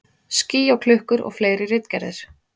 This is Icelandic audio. Ský og klukkur og fleiri ritgerðir.